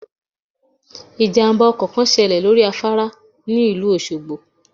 Ìjàmbá ọkọ̀ kan ṣẹlẹ̀ lórí afárá tí ò lẹ́sẹ̀ òṣogbo